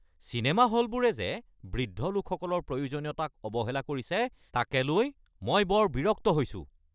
Cinema হলবোৰে যে বৃদ্ধ লোকসকলৰ প্ৰয়োজনীয়তাক অৱহেলা কৰিছে তাকে লৈ মই বৰ বিৰক্ত হৈছোঁ।